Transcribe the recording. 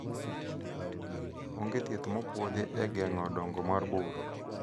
onge thieth mopuodhi e geng'o dongo mar bur